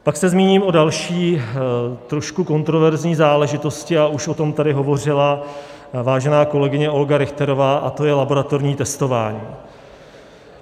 Pak se zmíním o další, trošku kontroverzní záležitosti, a už o tom tady hovořila vážená kolegyně Olga Richterová, a to je laboratorní testování.